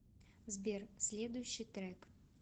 сбер следущий трек